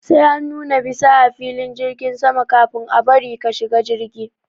Sai an nuna bisa a filin jirgin sama kafin a bari ka shiga jirgi.